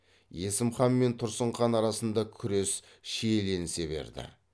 есім хан мен тұрсын хан арасында күрес шиеленісе берді